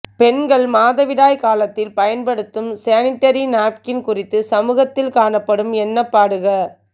பெண்கள் மாதவிடாய் காலத்தில் பயன்படுத்தும் சேனிடரி நப்கின் குறித்து சமூகத்தில் காணப்படும் எண்ணப்பாடுக